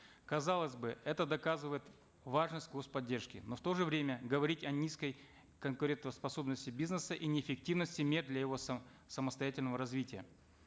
казалось бы это доказывает важность господдержки но в то же время говорить о низкой конкурентоспособности бизнеса и неэффективности мер для его самостоятельного развития